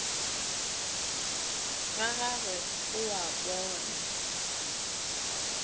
ga gagwe o a bona